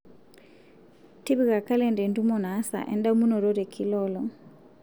tipika kalenda entumo naasa endamunoto tekila olong